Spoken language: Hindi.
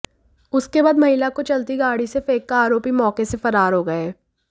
उसके बाद महिला को चलती गाडी से फेंक कर आरोपी मौके से फरार हो गए